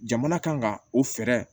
Jamana kan ka o fɛɛrɛ